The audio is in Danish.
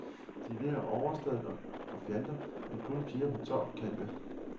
De ler overstadigt og fjanter som kun piger på tolv kan det.